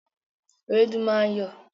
Ewédú máa ń yọ̀